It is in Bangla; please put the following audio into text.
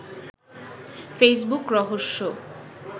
ফেসবুক রহস্য